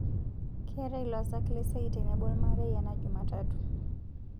keetae losak le siai tenebo olmarei ena jumatatu